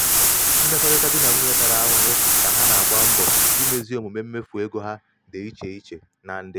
mmekọrịta di na nwunye tara ahụhụ ka ha na-agba mbọ imezi omume mmefu ego um ha um dị iche iche na ndị.